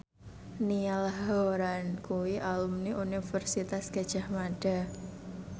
Niall Horran kuwi alumni Universitas Gadjah Mada